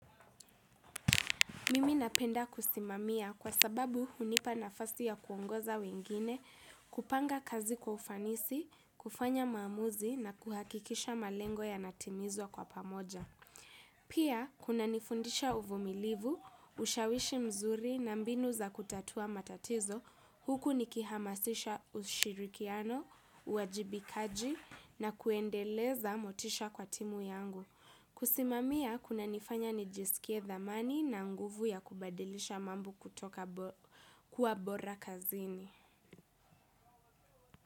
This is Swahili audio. Mimi napenda kusimamia kwa sababu hunipa nafasi ya kuongoza wengine kupanga kazi kwa ufanisi, kufanya maamuzi na kuhakikisha malengo yanatimizwa kwa pamoja. Pia, kunanifundisha uvumilivu, ushawishi mzuri na mbinu za kutatua matatizo, huku nikihamasisha ushirikiano, uwajibikaji na kuendeleza motisha kwa timu yangu. Kusimamia kunanifanya nijisikie thamani na nguvu ya kubadilisha mambo kutoka kuwa bora kazini.